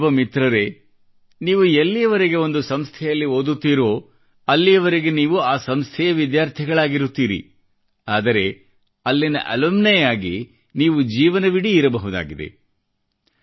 ನನ್ನಯುವ ಮಿತ್ರರೇ ನೀವು ಎಲ್ಲಿಯವರೆಗೆ ಒಂದು ಸಂಸ್ಥೆಯಲ್ಲಿ ಓದುತ್ತೀರೋ ಅಲ್ಲಿಯವರೆಗೆ ನೀವು ಆ ಸಂಸ್ಥೆಯ ವಿದ್ಯಾರ್ಥಿಗಳಾಗಿರುತ್ತೀರಿ ಆದರೆ ಅಲ್ಲಿಯ ಅಲುಮಿನಿ ಆಗಿ ನೀವು ಜೀವನವಿಡಿ ಇರಬಹುದಾಗಿದೆ